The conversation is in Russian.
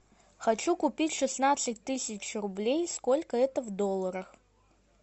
хочу купить шестнадцать тысяч рублей сколько это в долларах